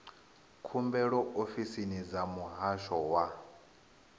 khumbelo ofisini dza muhasho wa